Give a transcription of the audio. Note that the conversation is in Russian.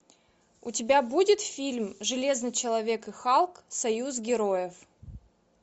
у тебя будет фильм железный человек и халк союз героев